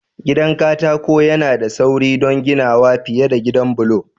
Gidan katako yana da sauri don ginawa fiye da gidan bulo.